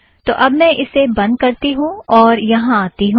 तो अब मैं इसे बंध करती हूँ और यहाँ आती हूँ